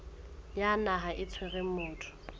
ya naha e tshwereng motho